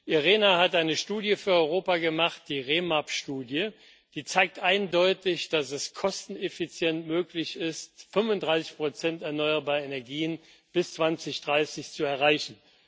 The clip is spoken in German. IRENA hat eine Studie für Europa gemacht die REmap Studie die eindeutig zeigt, dass es kosteneffizient möglich ist, 35 erneuerbare Energien bis 2030 zu erreichen.